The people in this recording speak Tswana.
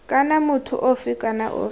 kana motho ofe kana ofe